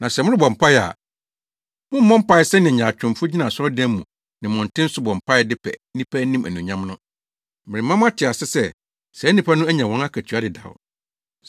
“Na sɛ morebɔ mpae a, mommmɔ mpae sɛnea nyaatwomfo gyina asɔredan mu ne mmɔnten so bɔ mpae de pɛ nnipa anim anuonyam no. Merema moate ase sɛ, saa nnipa no anya wɔn akatua dedaw.